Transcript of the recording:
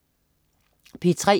P3: